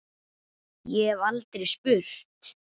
Ég hef aldrei spurt.